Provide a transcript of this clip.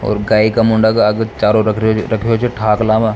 और गाय का मुंडा के आगे चारो रख रो रख रो छ ठाकला म।